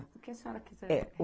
O que a senhora quiser? É